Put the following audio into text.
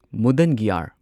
ꯃꯨꯗꯟꯒꯤꯌꯥꯔ